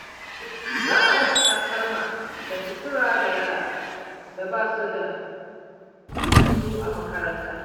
Za a raba takalma da sutura ga yaran da ba su da su a makaranta.